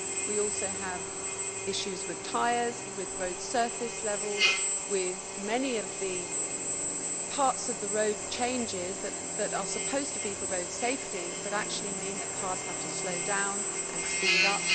We also have issues with tyres, with road surface levels and with many of the parts of the road changes that are supposed to be for road safety, but actually mean that cars have to slow down and speed up.